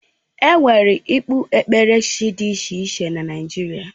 Enwere ekpukpere chi dị iche iche na Naijiria